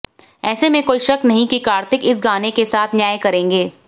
ऐसे में कोई शक नहीं कि कार्तिक इस गाने के साथ न्याय करेंगे